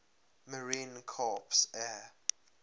marine corps air